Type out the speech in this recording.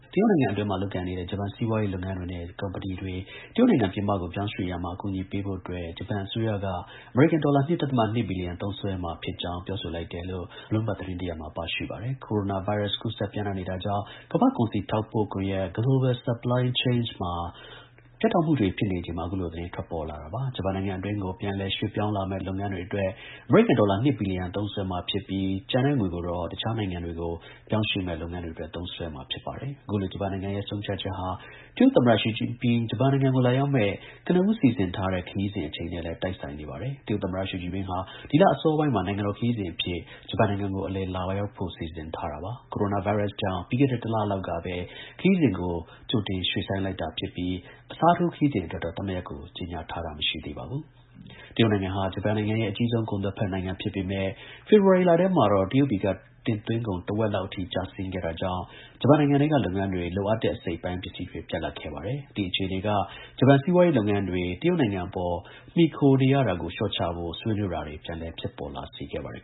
တရုတ်နိုင်ငံအတွင်းမှာ လုပ်ကိုင်နေတဲ့ ဂျပန် စီးပွားရေး လုပ်ငန်းတွေနဲ့ ကုမ္ပဏီတွေ တရုတ်နိုင်ငံ ပြင်ပကို ပြောင်းရွှေ့ရာမှာ အကူအညီ ပေးဖို့အတွက် ဂျပန်အစိုးရက အမေရိကန် ဒေါ်လာ ၂ ဒဿမ ၂ ဘီလီယံ သုံးစွဲမှာ ဖြစ်ကြောင်း ပြောဆိုလိုက်တယ်လို့ Bloomberg သတင်းတစ်ရပ်မှာ ပါရှိပါတယ်။ ကိုရိုနာ ဗိုင်းရပ်စ် ကူးစက်ပျံ့နှံ့နေတာကြောင့် ကမ္ဘာ့ကုန်စည် ထောက်ပို့ ကွန်ရက် Global Supply Chain မှာ ပြတ်တောက်မှု တွေ ဖြစ်နေချိန်မှာ အခုလို သတင်းထွက်ပေါ်လာတာဖြစ်ပါတယ်။ ဂျပန်နိုင်ငံအတွင်းကို ပြန်လည် ရွှေ့ပြောင်းလာမယ့် လုပ်ငန်းတွေ အတွက် အမေရိကန် ဒေါ်လာ ၂ ဘီလီယံ သုံးစွဲမှာ ဖြစ်ပြီး ကျန်ငွေကို တခြားနိုင်ငံတွေကို ပြောင်းရွှေ့မယ့် လုပ်ငန်းတွေအတွက် သုံးစွဲ မှာ ဖြစ်ပါတယ်။ အခုလို ဂျပန်နိုင်ငံရဲ့ ဆုံးဖြတ်ချက်ဟာ တရုတ် သမ္မတ ရှီကျင်ပင်း ဂျပန်နိုင်ငံကို လာရောက်မယ့် ကနဦး စီစဉ်ထားတဲ့ ခရီးစဉ် အချိန်နဲ့ လည်း တိုက်ဆိုင်နေပါတယ်။ တရုတ် သမ္မတ ရှီကျင်ပင်းဟာ ဒီလ အစောပိုင်းမှာ နိုင်ငံတော်ခရီးစဉ်အဖြစ် ဂျပန်နိုင်ငံကို အလည် လာ ရောက်ဖို့ စီစဉ်ထား တာပါ။ ကိုရိုနာ ဗိုင်းရပ်စ်ကြောင့် ပြီးခဲ့တဲ့ ၁ လလောက်ကပဲ ခရီးစဉ်ကို ရွှေ့ဆိုင်းလိုက်တာဖြစ်ပြီး အစားထိုး ခရီးစဉ် အတွက်တော့ သတ်မှတ်ရက်ကို ကြေညာထားတာ မရှိသေးပါဘူး။ တရုတ်နိုင်ငံဟာ ဂျပန်ရဲ့ အကြီးဆုံး ကုန်သွယ် ဖက်နိုင်ငံဖြစ်ပေမဲ့ ဖေဖော်ဝါရီလထဲမှာတော့ တရုတ်ပြည်က တင်သွင်းကုန် တဝက် လောက်အထိ ကျဆင်းခဲ့တာကြောင့် ဂျပန်နိုင်ငံထဲက လုပ်ငန်းတွေ လိုအပ်တဲ့ အစိတ်အပိုင်း ပစ္စည်းတွေ ပြတ်လပ်ခဲ့ပါတယ်။ အဲဒီ အခြေအနေက ဂျပန် စီးပွားရေးလုပ်ငန်းတွေ တရုတ်နိုင်ငံ အပေါ် မှီခိုနေရတာကို လျှော့ချဖို့ ဆွေးနွေးတာတွေ ပြန်လည် ဖြစ်ပေါ်လာ စေခဲ့ပါတယ်